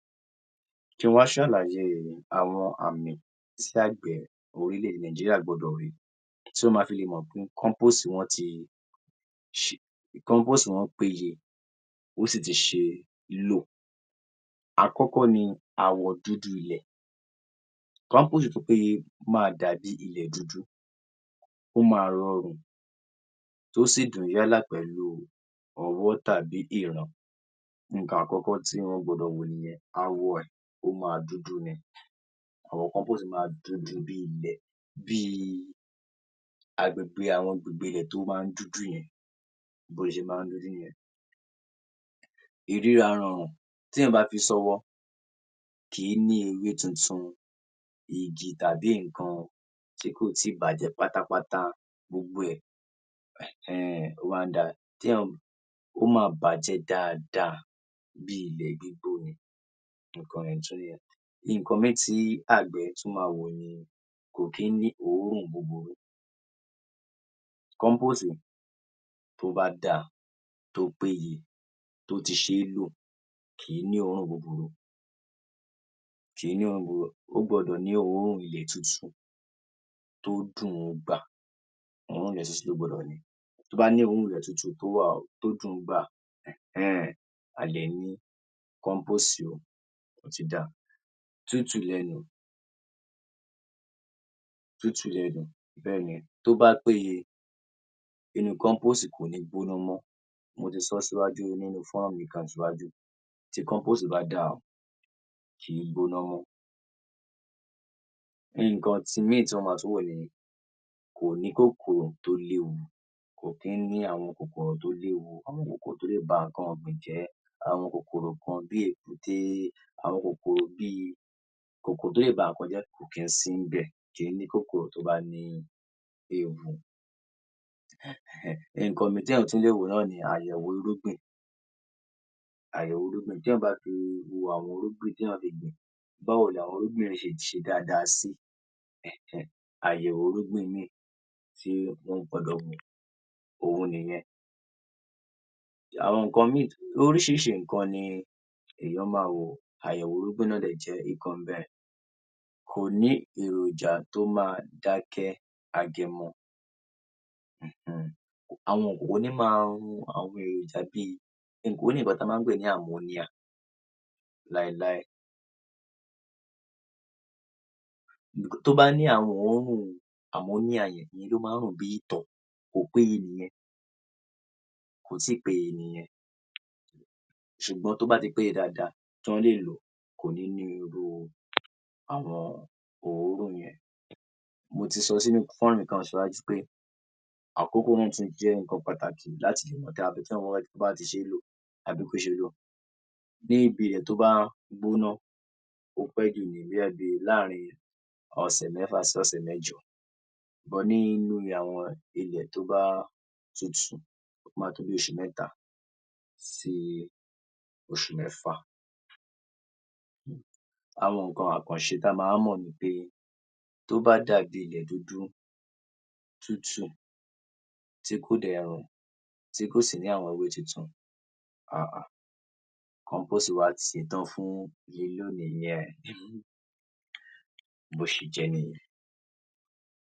00582 Kí ń wá s̩àlàyé àwo̩n àmì tí àgbè orílè̩-èdè Nàìjíríà gbó̩dò̩ rí tí wó̩n ma fi lè mò̩ pé kó̩ḿpóòsì (Yorùbá) wo̩n ti kó̩ḿpóòsì (Yorùbá) wo̩n péyè ó sì ti s̩e é lò. Àkó̩kó̩ ni ààwò̩ dúdú ilè̩ - kó̩ḿpóòsì (Yorùbá) tó péye máa dàbí ilè̩ dúdú, ó máa ro̩rùn tó sì dùn yàlá pè̩lú o̩wó̩ tàbí ìran, nǹkan àkó̩kó̩ tí wó̩n gbo̩dò̩ wò nìye̩n. Ààwo̩ è̩ ó máa dúdú ni, ààwò̩ compose máa dúdú bi ilè̩ bí ibi àwo̩n agbègbè rè̩ tó máa ń dúdú ye̩n bí ó s̩e máa ń dúdú nìye̩n. Ìríra ro̩rùn tééyàn bá fi só̩wó̩ kì í ní ewé tuntun, igi tàbí nǹkan tí kò tíì bàjé̩ pátápátá gbogbo e̩, è̩hé̩n-è̩n, ó máa ń da tééyàn ó máa bàjé̩ dáadáa bí ilè̩ gbígbó ni. Nǹkan ye̩n tún níye̩n. Nǹkan mìíì tí àgbè̩ tún máa wò ni kò kí ń ní òórùn búburú, compose tó bá dáa tó péye, tó ti s̩e é lò kì í ní òórùn búburú. Kí ní òórùn, ó gbo̩dò̩ ní òórùn ilè̩ tútù tó dùn-ún gbà, òórùn rè̩ ilè tútù ó gbo̩dò̩, tó bá ni òórùn ilè̩ tó dùn-ún gbà è̩hé̩n-è̩n, a lè ní kó̩ḿpóòsì (Yorùbá) ó ti dáa. Tútù bé̩ye̩n tó bá péye, inú kó̩ḿpóòsì (Yorùbá) kò ní gbóná mó̩. Mo ti so̩ síwájú nínú fó̩nrán mi kan síwájú tí compose bá dáa kì í gbóná mó̩. Nǹkan mìíì tí wó̩n ma tún wò ni kò ní ní kòkòrò tó léwu, kò kí ń ní àwon kòkòrò tó léwu àwo̩n kòkòrò tó lè ba nǹkan ò̩gbìn jé̩. Àwo̩n kòkòrò kan bí èkúté àwo̩n kòkòrò bíi kòkòrò tó lè ba nǹkan jé̩ kò kí ń sí ńbè̩ èyí ni pé kòkòrò tó bá ní ewu, èhé̩n-è̩n. Nǹkan mìíì téèyàn tún lè wò ni àyè̩wò irúgbìn àyè̩wò irúgbìn téèyàn bá ti wo àwo̩n irúgbìn téèyàn le gbìn, báwo ni àwo̩n irúgbìn náà s̩e s̩e dáadáa sí, è̩hé̩n? Àyè̩wò irúgbìn yìí tí wó̩n gbo̩dò̩ wò òhun nìye̩n. Àwo̩n nǹkan mìíì, orís̩irís̩i nǹkan ni èèyàn máa wò, àyè̩wò irúgbìn náà sì jé̩ nǹkan ńbè̩. Kò ní èròjà tó máa dáké̩, age̩mo̩ um. Àwo̩n kòkòrò kò ní máa run àwo̩n èròjà bíi e̩ mò̩ pé ó ní nǹkan tí a máa ń pè ní àmóníà (Yorùbá) láéláé. Tó bá ní àwo̩n òórùn àmòníà (Yorùbá) ye̩n ìye̩n ló máa ń rùn bí ìtò̩ kò péye nìye̩n kò tíì péye nìye̩n, sùgbó̩n tí ó bá ti pé dáadáa tí wó̩n lè lò kò nì ní irú àwo̩n òórùn ye̩n. Mo ti so̩ sínu fó̩nrán mi kan síwájú pé àkókò náà tún jé̩ nǹkan pàtàkì láti le tètè dá ibi tí ó bá s̩e é lò àbí kó s̩e bí ibi ilè̩ tó bá gbóná ó pé̩ jù bóyá bi láàrin ò̩sè̩ mé̩fà sí ò̩sè̩ mé̩jo̩ but nínú àwo̩n ilè̩ tó bá tutù ó máa tó bi os̩ù mé̩ta sị os̩ù mé̩fà. àwo̩n nǹkan àkàns̩e tí a máa ń mò̩ ni pé tó bá dàbí ilè̩ dúdú, tútù tí kò dè̩ rùn, tí kò sì ní àwo̩n ewé tuntun, um, kóńpóòsì(Yorùbá) wa ti s̩etán fún lílò nìye̩n. Bó s̩e jé̩ níye̩n.